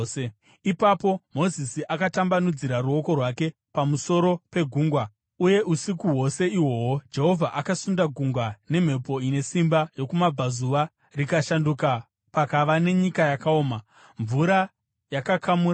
Ipapo Mozisi akatambanudzira ruoko rwake pamusoro pegungwa, uye usiku hwose ihwohwo Jehovha akasunda gungwa nemhepo ine simba yokumabvazuva rikashanduka pakava nenyika yakaoma. Mvura yakakamurana,